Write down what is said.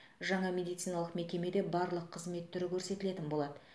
жаңа медициналық мекемеде барлық қызмет түрі көрсетілетін болады